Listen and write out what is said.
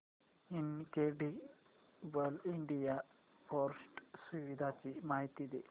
incredible India portal सुविधांची माहिती दे